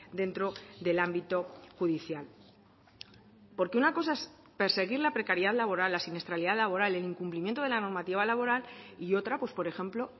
dentro del ámbito judicial porque una cosa es perseguir la precariedad laboral la siniestralidad laboral el incumplimiento de la normativa laboral y otra pues por ejemplo